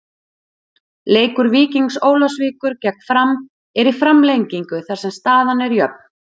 Leikur Víkings Ólafsvíkur gegn Fram er í framlengingu þar sem staðan er jöfn.